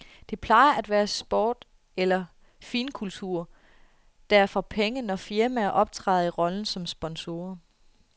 Det plejer at være sport eller finkultur, der får penge, når firmaer optræder i rollen som sponsorer.